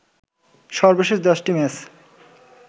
সর্বশেষ ১০টি ম্যাচে